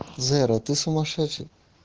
зэра ты сумасшедший